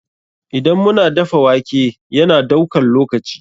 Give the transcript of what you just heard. Idan mu na dafa wake, ya na daukan lokaci.